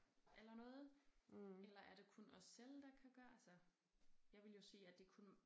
Eller noget eller er det kun os selv der kan gøre altså jeg ville jo sige at det kun